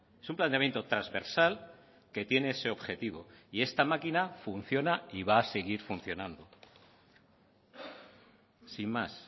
es un planteamiento transversal que tiene ese objetivo y esta máquina funciona y va a seguir funcionando sin más